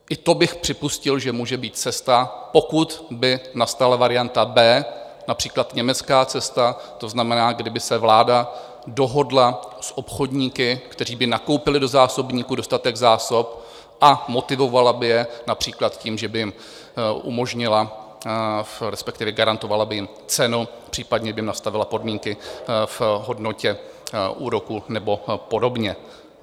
I to bych připustil, že může být cesta, pokud by nastala varianta B, například německá cesta, to znamená, kdyby se vláda dohodla s obchodníky, kteří by nakoupili do zásobníků dostatek zásob, a motivovala by je například tím, že by jim umožnila, respektive garantovala by jim cenu, případně by jim nastavila podmínky v hodnotě úroku nebo podobně.